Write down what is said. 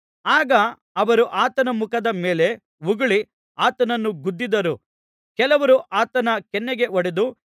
ಆಗ ಅವರು ಆತನ ಮುಖದ ಮೇಲೆ ಉಗುಳಿ ಆತನನ್ನು ಗುದ್ದಿದರು ಕೆಲವರು ಆತನ ಕೆನ್ನೆಗೆ ಹೊಡೆದು